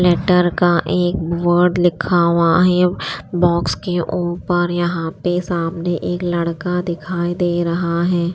Letter का एक word लिखा हुआ है बॉक्स के ऊपर यहां पे सामने एक लड़का दिखाई दे रहा है।